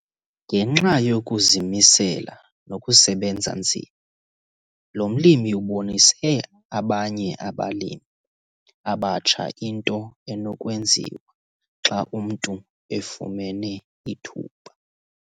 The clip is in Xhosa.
Ngenxa yokuzimisela nokusebenza nzima lo mlimi ubonise abanye abalimi abatsha into enokwenziwa xa umntu efumene ithuba.